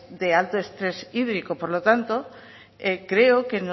de alto estrés hídrico por lo tanto creo que